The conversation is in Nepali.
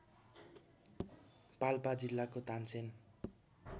पाल्पा जिल्लाको तानसेन